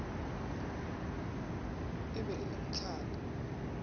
e be e le mhlanga